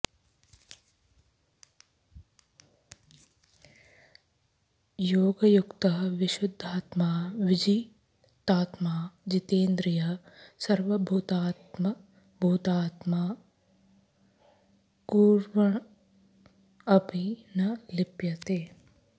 योगयुक्तः विशुद्धात्मा विजितात्मा जितेन्द्रियः सर्वभूतात्मभूतात्मा कुर्वन् अपि न लिप्यते